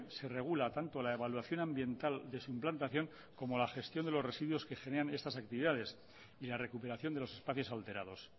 se regula tanto la evaluación ambiental de su implantación como la gestión de los residuos que generan estas actividades y la recuperación de los espacios alterados